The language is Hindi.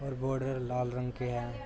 और बॉर्डर लाल रंग के हैं।